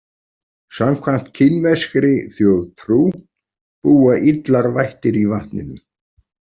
Samkvæmt kínverskri þjóðtrú búa illar vættir í vatninu.